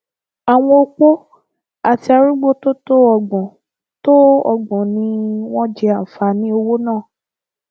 àwọn opó àti arúgbó tó tó ọgbọn tó ọgbọn ni wọn jẹ àǹfààní owó náà